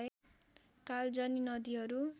कालजनि नदिहरू